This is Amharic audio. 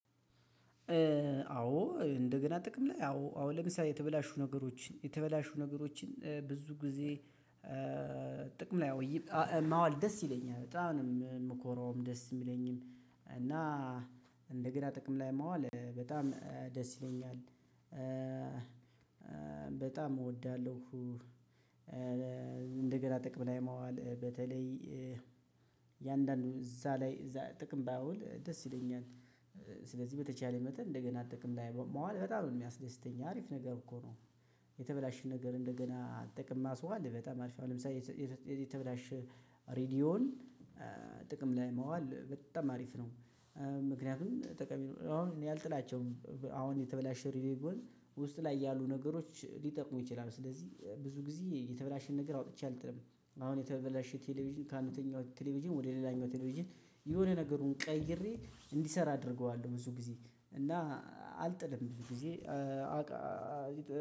አዎ እንደገና ጥቅም ላይ አዎ አሁን ለምሳሌ የተበላሹ ነገሮችን የተበላሹ ነገሮችን ብዙ ጊዜ። ጥቅም ላይ ማዋል ደስ ይለኛል በጣም ነው የምኮራውም ደስ የሚለኝም እና እንደገና ጥቅም ላይ ማዋል በጣም ደስ ይለኛል። በጣም እወዳለሁ። እንደገና ጥቅም ላይ ማዋል በተለይ እያንዳንዱ እዛ ላይ እዛ ጥቅም ባውል ደስ ይለኛል። ስለዚህ በተቻለ መጠን እንደገና ጥቅም ላይ ማዋል በጣም ነው የሚያስደስተኝ አሪፍ ነገር እኮ ነው። የተበላሸን ነገር እንደገና ለጥቅም ማስዋል በጣም አሪፍ ነው። ለምሳሌ የተበላሽ ሬዲዮን ጥቅም ላይ ማዋል በጣም አሪፍ ነው። ምክንያቱም አሁን እኔ አልጥላቸውም አሁን የተበላሸ ሬድዮ ውስጥ ላይ ያሉ ነገሮች ሊጠቅሙ ይችላሉ ስለዚህ ብዙ ጊዜ የተበላሸ ነገር አውጥቼ አልጥለም። አሁን የተበላሸ ቴሌቪዥን ከአንደኛው ቴሌቪዥን ወደ ሌላኛው ቴሌቪዥን የሆነ ነገሩን ቀይሬ እንዲሰራ አደርገዋለሁ ብዙ ጊዜ እና አልጥልም ብዙ ጊዜ አዎ